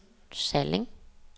Salling